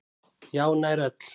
Já, nær öll.